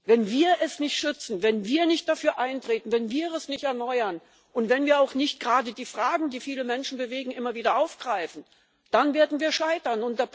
Wenn wir es nicht schützen, wenn wir nicht dafür eintreten, wenn wir es nicht erneuern und wenn wir nicht die Fragen, die viele Menschen bewegen, immer wieder aufgreifen, dann werden wir scheitern.